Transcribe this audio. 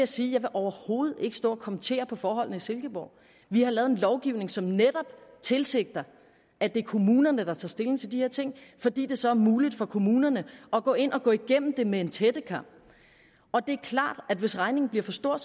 sige at jeg overhovedet ikke vil stå og kommentere på forholdene i silkeborg vi har lavet en lovgivning som netop tilsigter at det er kommunerne der tager stilling til de her ting fordi det så er muligt for kommunerne at gå ind og gå igennem det med en tættekam det er klart at hvis regningen bliver for stor